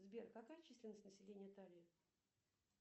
сбер какая численность населения италии